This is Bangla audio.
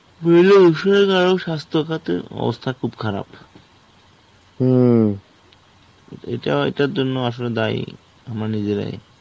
কারো স্বাস্থ্য খাতে অবস্থা খুব খারাপ এটাও এটার জন্য আসলে দায়ী আমরা নিজেরাই.